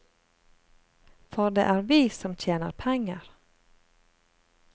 For det er vi som tjener penger.